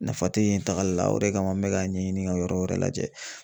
Nafa tɛ yen tagali la o de kama n bɛ k'a ɲɛɲini ka yɔrɔ wɛrɛ lajɛ.